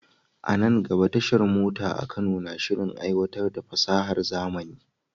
A nan gaba, tashar mota a Kano na shirin aiwatar da fasahar zamani.